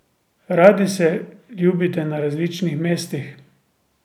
Radi se ljubite na različnih mestih.